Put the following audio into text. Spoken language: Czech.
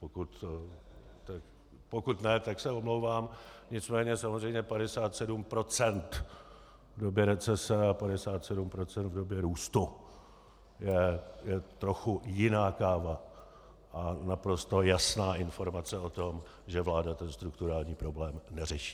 Pokud ne, tak se omlouvám, nicméně samozřejmě 57 % v době recese a 57 % v době růstu je trochu jiná káva a naprosto jasná informace o tom, že vláda ten strukturální problém neřeší.